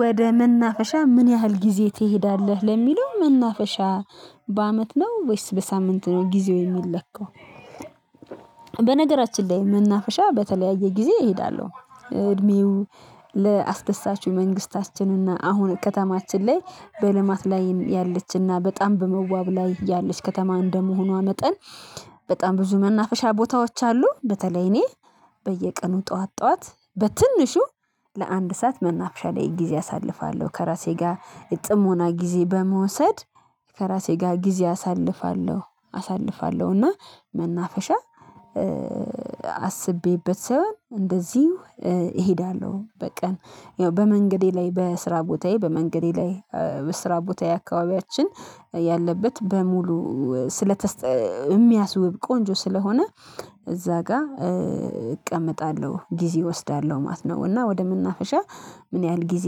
ወደ መናፈሻ ምን ያህል ጊዜ ትሄዳለህ ለሚለው መናፈሻ በአመት ነው ወይስ በሳምንት ነው ጊዜው የሚለካው? በነገራችን ላይ መናፈሻ በተለያየ ጊዜ እሄዳለሁ። እድሜው ለአስደሳቹ መንግስታችን እና አሁን ከተማችን ላይ በልማት ላይ ያለችና በጣም በመዋብ ላይ ያለች ከተማ እንደመሆኗ መጠን በጣም ብዙ መናፈሻ ቦታዎች አሉ። በተለይ እኔ በየቀኑ ጠዋት ጠዋት በትንሹ ለአንድ ሰዓት መናፍሻ ላይ ጊዜ አሳልፋለሁ ከራሴ ጋር ጥሞና ጊዜ በመውሰድ ከራሴ ጋር ጊዜ አሳልፋለሁ አሳልፋለሁ። እና መናፈሻ አስቤበት ሳይሆን እንደዚሁ እሄዳለሁ። በቀን በመንገዴ ላይ በስራ ቦታዬ በመንገዴ ላይ በስራ ቦታ አካባቢያችን ያለበት በሙሉ ስለተስ የሚያስውብ ቆንጆ ስለሆነ እዚያ ጋር እቀመጣለሁ ጊዜ እወስዳለሁ ማለት ነው። እና ወደ መናፍሻ ምን ያህል ጊዜ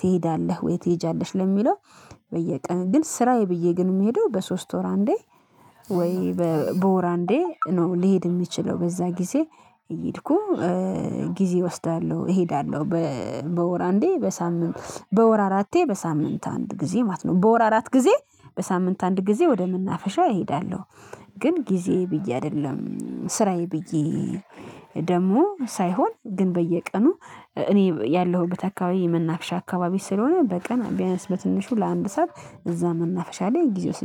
ትሄዳለህ ወይ ትሄጃለሽ ለሚለው? በየቀን ግን ስራዬ ብዬ ግን የምሄደው በሶስት ወር አንዴ ወይ በወር አንዴ ነው። ሊሄድ የሚችለው በዚያ ጊዜ እየሄድኩ ጊዜ እወስዳለሁ እሄዳለሁ። በወር አንዴ በሳምንት በወር አራቴ በሳምንት አንድ ጊዜ ማለት ነው በወር አራት ጊዜ በሳምንት አንድ ጊዜ ወደ ምናፍሻው እሄዳለሁ። ግን ጊዜ ብዬ አይደለም ስራዬ ብዬ ደግሞ ሳይሆን ግን በየቀኑ እኔ ያለሁበት አካባቢ የመናፍሻ አካባቢ ስለሆነ በቀን ቢያነስ በትንሹ ለአንድ ሰዓት እዚያ መናፍሻ ላይ ጊዜ ውስጄ